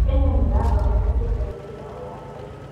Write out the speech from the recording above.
Kenya nĩ ĩrathondeka Satellite yayo ya mbere